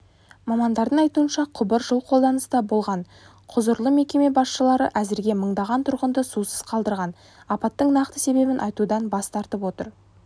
мамандардың айтуынша құбыр жыл қолданыста болған құзырлы мекеме басшылары әзірге мыңдаған тұрғынды сусыз қалдырған апаттың нақты себебін айтудан бас тартып отыр